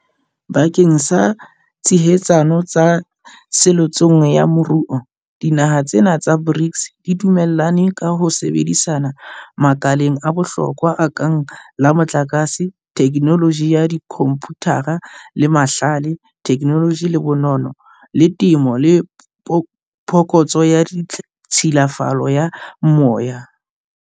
Bakeng sa tshehetsano tso seletsong ya moruo, dinaha tsena tsa BRICS di dumellane ka ho sebedisana makaleng a bohlokwa a kang la motlakase, thekenoloji ya dikhomputara, la mahlale, thekenoloji le bonono, la temo le phokotso ya tshilafalo ya moya.